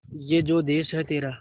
ये जो देस है तेरा